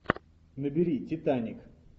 набери титаник